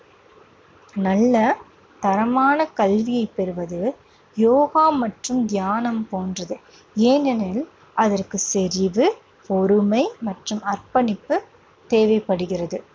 நல்ல தரமான கல்வியை பெறுவது யோகா மற்றும் தியானம் போன்றது. ஏனெனில் அதற்குச் செறிவு, பொறுமை மற்றும் அர்ப்பணிப்பு தேவைப்படுகிறது.